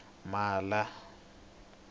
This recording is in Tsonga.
mhala